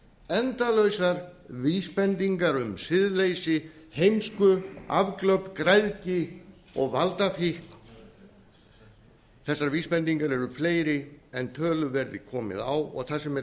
endalausar vísbendingar um siðleysi heimsku afglöp græðgi og valdafíkn þessar vísbendingar eru fleiri en tölu verði komið á og það sem er